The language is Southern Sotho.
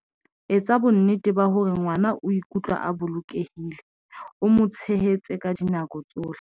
Etsa bonnete ba hore ngwa na o ikutlwa a bolokehile, o mo tshehetse ka dinako tsohle.